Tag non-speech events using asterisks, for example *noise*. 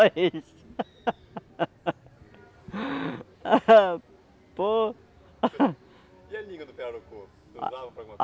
eles. *laughs* Pô. E a língua do pirarucu? Usava para alguma